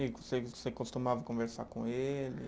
E você costumava conversar com ele?